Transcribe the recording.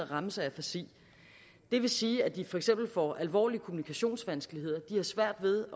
ramt af afasi det vil sige at de for eksempel får alvorlige kommunikationsvanskeligheder de har svært ved